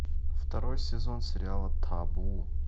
второй сезон сериала табу